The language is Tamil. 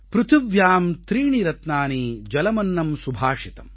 ப்ருதிவ்யாம் த்ரீணி ரத்னானி ஜலமன்னம் சுபாஷிதம்